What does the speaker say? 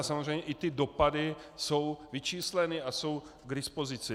A samozřejmě i ty dopady jsou vyčísleny a jsou k dispozici.